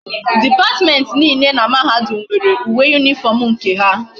Department niile na mahadum nwere uwe uniform nke ha